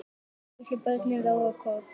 Litlu börnin róa kort.